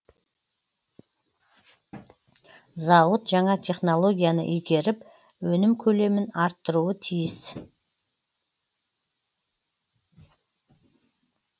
зауыт жаңа технологияны игеріп өнім көлемін арттыруы тиіс